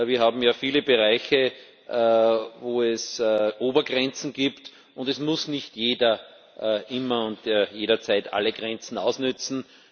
Wir haben ja viele Bereiche, in denen es Obergrenzen gibt, und es muss nicht jeder immer und jederzeit alle Grenzen ausnützen.